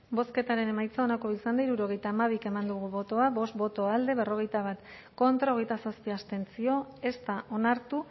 bozketaren emaitza onako izan da hirurogeita hamabi eman dugu bozka bost boto alde berrogeita bat contra hogeita zazpi abstentzio ez da onartu